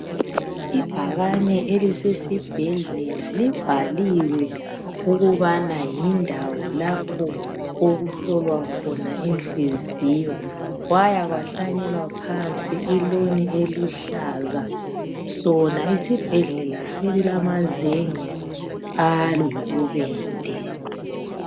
Ibhakane elisesibhedlela libhaliwe ukubana yindawo lapho okuhlolwa khona inhliziyo. Kwaya kwahlanyelwa phansi iloni eluhlaza. Sona isibhedlela silamazenge ayibubende